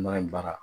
N'a ye baara